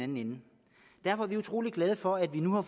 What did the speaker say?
dem derfor er vi utrolig glade for at vi nu har